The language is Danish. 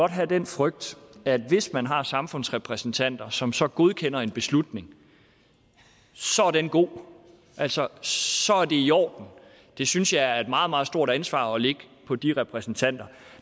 have den frygt at hvis man har samfundsrepræsentanter som så godkender en beslutning så er den god altså så er det i orden det synes jeg er et meget meget stort ansvar at lægge på de repræsentanter